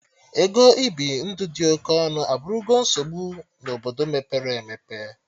Ego ibi ndụ ịdị oke ọnụ abụrụgo nsogbu na Obodo mepere emepe